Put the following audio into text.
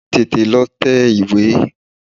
Tètè lọ tẹ ìwé!